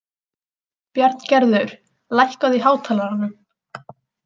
Bjarngerður, lækkaðu í hátalaranum.